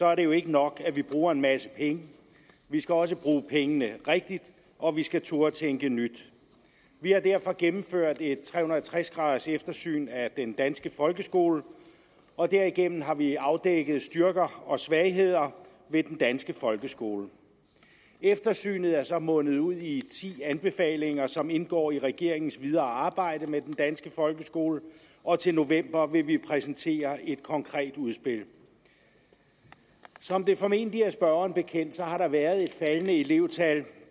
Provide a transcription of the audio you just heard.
er det jo ikke nok at vi bruger en masse penge vi skal også bruge pengene rigtigt og vi skal turde tænke nyt vi har derfor gennemført et tre hundrede og tres graders eftersyn af den danske folkeskole og derigennem har vi afdækket styrker og svagheder ved den danske folkeskole eftersynet er så mundet ud i ti anbefalinger som indgår i regeringens videre arbejde med den danske folkeskole og til november vil vi præsentere et konkret udspil som det formentlig er spørgeren bekendt har der været et faldende elevtal